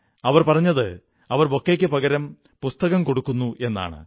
അവർ പറഞ്ഞത് അവർ ബൊക്കെയ്ക്കു പകരം പുസ്തകം കൊടുക്കുന്നു എന്നാണ്